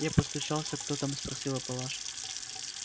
я постучался кто там спросила палаша